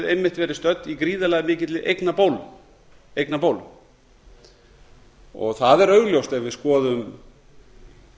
einmitt verið stödd í gríðarlega mikilli eignabólu það er augljóst ef við skoðum